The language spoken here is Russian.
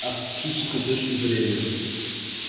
а с психической точки зрения